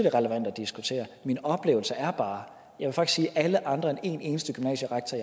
er relevant at diskutere det min oplevelse er bare at alle andre end en eneste gymnasierektor